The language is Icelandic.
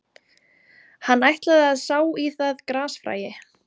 Hann ætlaði að sá í það grasfræi